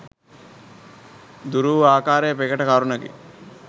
දුරු වූ ආකාරය ප්‍රකට කරුණකි.